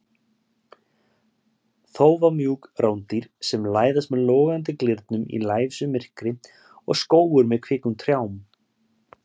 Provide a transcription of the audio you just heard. Þófamjúk rándýr sem læðast með logandi glyrnum í lævísu myrkri og skógur með kvikum trjám.